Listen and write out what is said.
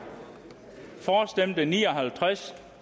for stemte ni og halvtreds